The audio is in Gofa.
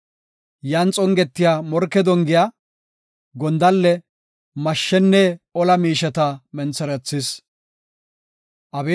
Yan xongetiya morke dongiya, gondalle, mashshenne ola miisheta mentherethis. Salaha